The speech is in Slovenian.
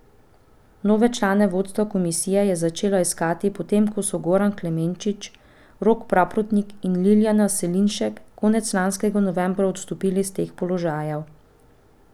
Nove člane vodstva komisije je začel iskati, potem ko so Goran Klemenčič, Rok Praprotnik in Liljana Selinšek konec lanskega novembra odstopili s teh položajev.